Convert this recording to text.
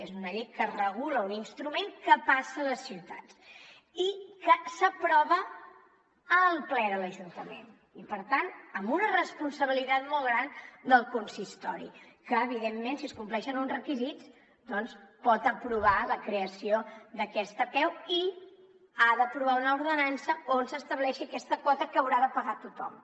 és una llei que regula un instrument que passa a les ciutats i que s’aprova al ple de l’ajuntament i per tant amb una responsabilitat molt gran del consistori que evidentment si es compleixen uns requisits doncs pot aprovar la creació d’aquesta apeu i que ha d’aprovar una ordenança on s’estableixi aquesta quota que haurà de pagar tothom